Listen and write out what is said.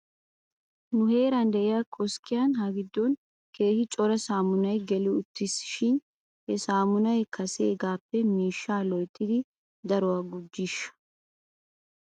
Nu heeran de'iyaa koskkiyan ha giddon keehi cora saammunay geli uttis shin he saammunay kaseegaappe miishshaa loyttidi daruwaa gujjiishsha ?